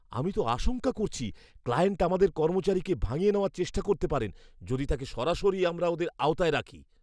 আমি তো আশঙ্কা করছি ক্লায়েন্ট আমাদের কর্মচারীকে ভাঙিয়ে নেওয়ার চেষ্টা করতে পারেন, যদি তাকে সরাসরি আমরা ওঁদের আওতায় রাখি।